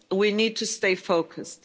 We need to stay focused.